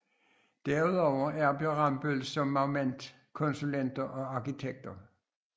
Derudover arbejder Rambøll som management konsulenter og arkitekter